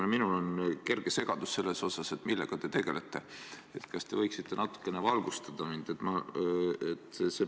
Kuna minul on kerge segadus selles osas, millega te tegelete, siis kas te võiksite mind natukene valgustada?